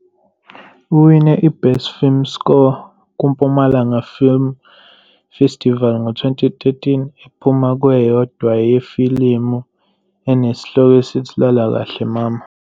Uwine i-Best Film Score kuMpumalanga Film Festival ngo-2013 ephuma kweyodwa yefilimu enesihloko esithi- 'Lala kahle Mama.